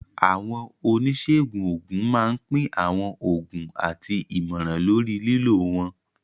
Àwọn oníṣègùn òògùn máa ń pín àwọn oògùn àti ìmọ̀ràn lórí lílò wọn.